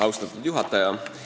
Austatud juhataja!